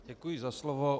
Děkuji za slovo.